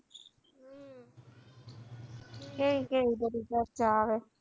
કેવી કેવી બધી ચર્ચા આવે